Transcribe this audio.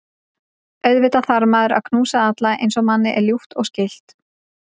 Auðvitað þarf maður að knúsa alla eins og manni er ljúft og skylt.